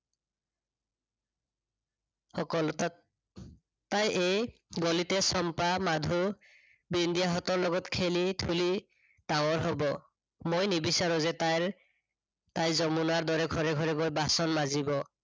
তাই এই গলিতে চম্পা, মাধু, বিন্দিয়াহতঁৰ লগত খেলি-খেলি ডাঙৰ হব। মই নিবিচাৰো যে তাইৰ তাই যমুনাৰ দৰে ঘৰে ঘৰে গৈ বাচন মাজিব।